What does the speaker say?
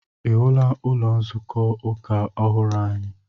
Ị hụla ụlọ nzukọ ụka ọhụrụ anyị?